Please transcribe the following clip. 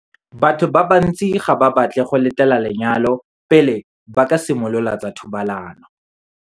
Batho ba bantsi ga ba batle go letela lenyalo pele ba ka simolola tsa thobalano.